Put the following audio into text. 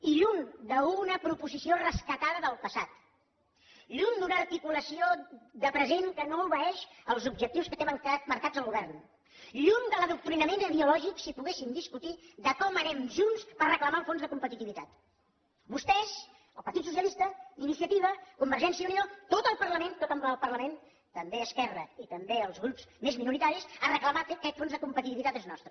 i lluny d’una proposició rescatada del passat lluny d’una articulació de present que no obeeix als objectius que té marcats el govern lluny de l’adoctrinament ideològic si poguéssim discutir de com anem junts per reclamar el fons de competitivitat vostès el partit socialista iniciativa convergència i unió tot el parlament en ple el parlament també esquerra i també els grups més minoritaris a reclamar que aquest fons de competitivitat és nostre